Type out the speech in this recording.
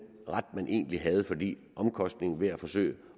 ret man egentlig havde fordi omkostningen ved at forsøge